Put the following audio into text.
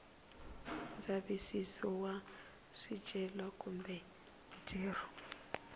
ndzavisiso wa swicelwa kumbe ntirho